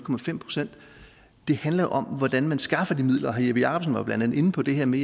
procent det handler jo om hvordan man skaffer de midler herre jeppe jakobsen var blandt andet inde på det her med